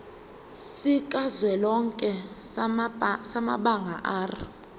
sikazwelonke samabanga r